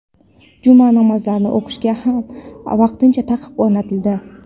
Juma namozlarini o‘qishga ham vaqtincha taqiq o‘rnatildi.